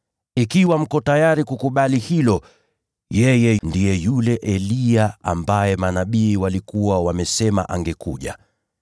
Ikiwa mko tayari kukubali hilo, yeye ndiye yule Eliya ambaye manabii walikuwa wamesema angekuja.